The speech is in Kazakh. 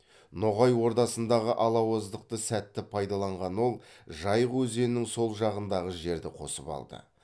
ноғай ордасындағы алауыздықты сәтті пайдаланған ол жайық өзенінің сол жағындағы жерді қосып алды